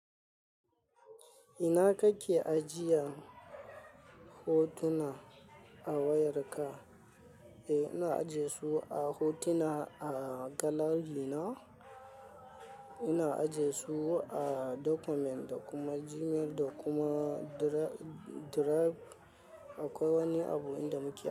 Ina kake ajiya hotuna a wayarka? Eh, ina ajiye su a hotuna, a gallery na. Ina ajiye su a document, da kuma Gmail da kuma drive. Akwai wani abu inda muke ajiye.